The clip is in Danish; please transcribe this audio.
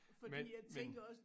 Men men